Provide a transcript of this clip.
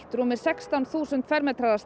rúmir sextán þúsund fermetrar